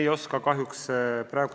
Ei oska kahjuks praegu vastata.